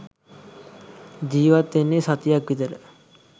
ජීවත් වෙන්නේ සතියක් විතර